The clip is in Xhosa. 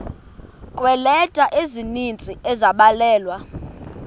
kweeleta ezininzi ezabhalelwa